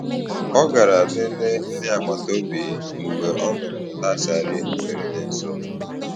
Ọ garà leleè ndị agbata obi mgbe ọ nụrụ̀ ụda siren mberede nso.